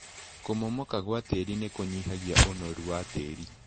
Kũmomoka gwa tĩri nĩkũnyihagia ũnoru wa tĩri.